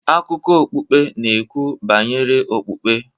Akụkọ okpukpe n'ekwu banyere okpukpe